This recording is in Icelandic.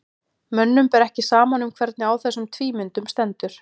mönnum ber ekki saman um hvernig á þessum tvímyndum stendur